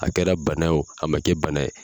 A kɛra bana ye o a man kɛ bana ye